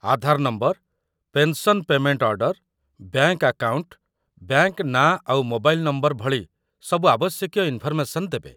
ଆଧାର number, pension payment order, bank account, bank ନାଁ ଆଉ mobile number ଭଳି ସବୁ ଆବଶ୍ୟକୀୟ ଇନ୍‌ଫର୍‌ମେସନ୍ ଦେବେ ।